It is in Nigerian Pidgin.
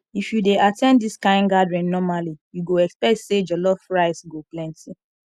if you dey at ten d this kind gathering normally you go expect say jollof rice go plenty